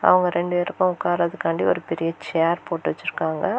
அவங்க ரெண்டு பேருக்கும் உட்காரத்துக்காண்டி ஒரு பெரிய ஷேர் போட்டு வச்சிருக்காங்க.